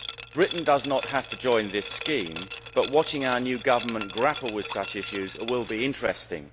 Britain does not have to join this scheme, but watching our new government grapple with such issues will be interesting.